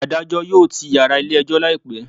Adajọ yoo tii yara ile ejo laipẹ